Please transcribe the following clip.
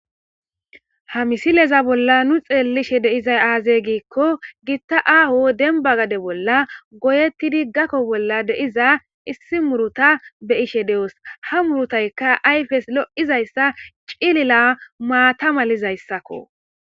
Ha misileza bolla nu be'ishe dizay aybe gikon issi gita ago demba gade bolla goyetida halo bolla de'iza issi muruta be'ish doos ha murutayka ayfeka lo'iza cilila maata malizaysako.